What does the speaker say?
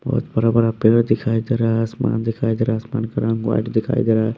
बहुत बड़ा बड़ा पेड़ दिखाई दे रहा है आसमान दिखाई दे रहा है आसमान का रंग व्हाइट दिखाई दे रहा है।